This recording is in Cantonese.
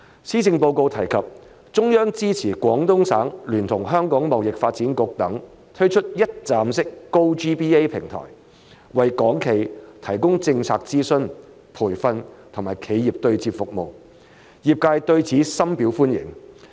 施政報告提及中央支持廣東省聯同香港貿易發展局等推出一站式 "GoGBA" 平台，為港企提供政策諮詢、培訓、以及企業對接服務，業界對此深表歡迎。